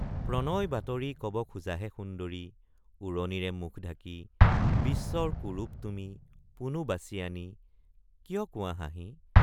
প্ৰণয় বাতৰি কব খোজাহে সুন্দৰি ওৰণিৰে মুখ ঢাকি বিশ্বৰ কুৰূপ তুমি পুনু বাছি আনি কিয় কোৱা হাঁহি?